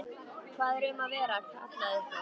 Hvað er um að vera? kallaði einhver.